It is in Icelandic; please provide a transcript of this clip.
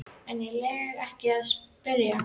En ég legg ekki í að spyrja.